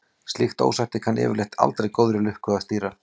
Slíkt ósætti kann yfirleitt aldrei góðri lukka að stýra.